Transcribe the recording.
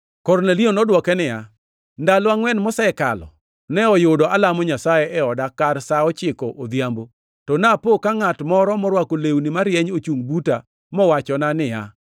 Kornelio nodwoke niya, “Ndalo angʼwen mosekalo ne oyudo alamo Nyasaye e oda kar sa ochiko odhiambo. To napo ka ngʼat moro morwako lewni marieny ochungʼ buta mowachona niya,